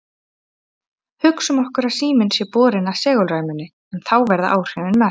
Hugsum okkur að síminn sé borinn að segulræmunni, en þá verða áhrifin mest.